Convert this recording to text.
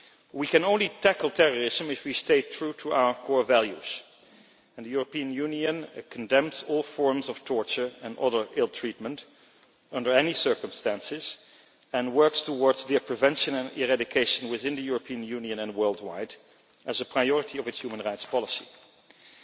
We can only tackle terrorism if we stay true to our core values and the European Union condemns all forms of torture and other ill-treatment under any circumstances and works towards their prevention and eradication within the European Union and worldwide as a priority of its human rights policy.